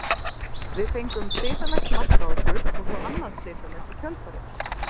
Við fengum slysalegt mark á okkur og svo annað slysalegt í kjölfarið.